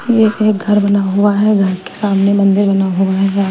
ये एक घर बना हुआ है घर के सामने मंदिर बना हुआ है।